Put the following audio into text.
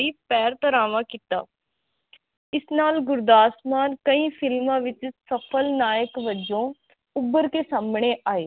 ਪੈਰ ਤਰਾਵਾਂ ਕਿੱਤਾ ਇਸ ਨਾਲ ਗੁਰਦਾਸ ਮਾਨ ਕਈ ਫਿਲਮਾਂ ਵਿਚ ਸਫ਼ਲ ਨਾਇਕ ਵਜੋ ਉੱਬਰ ਕੇ ਸਾਹਮਣੇ ਆਏ